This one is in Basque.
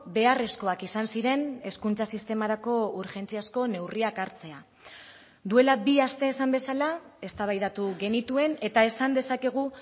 beharrezkoak izan ziren hezkuntza sistemarako urgentziazko neurriak hartzea duela bi aste esan bezala eztabaidatu genituen eta esan dezakegu